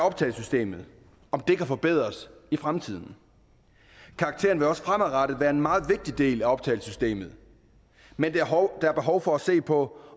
optagesystemet kan forbedres i fremtiden karaktererne vil også fremadrettet være en meget vigtig del af optagesystemet men der er behov for at se på